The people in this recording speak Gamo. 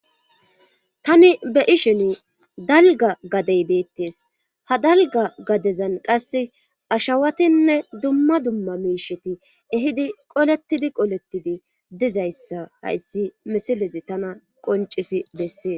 tani be ishin dalga gadey beettes ha dalga gadezan qasse ashawatinne dumma dumma miisheti ehidi qoletidi qolettidi dizayssa hayssi misilezi tana qoncisi bessee